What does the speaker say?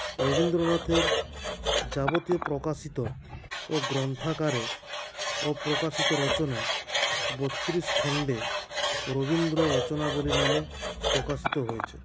রবীন্দ্রনাথের যাবতীয় প্রকাশিত ও গ্ৰন্থাগারে অপ্রকাশিত রচনা বত্রিশ খন্ডে রবীন্দ্র রচনাবলী নামে প্রকাশিত হয়েছে